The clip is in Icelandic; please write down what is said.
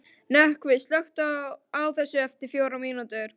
Nökkvi, slökktu á þessu eftir fjórar mínútur.